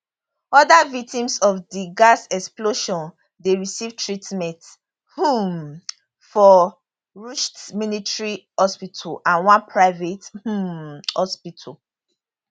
oda victims of di gas explosion dey receive treatment um for rsuth military hospital and one private um hospital